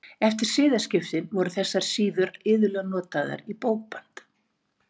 Eftir siðaskiptin voru þessar síður iðulega notaðar í bókband.